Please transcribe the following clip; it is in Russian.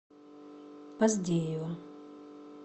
поздеева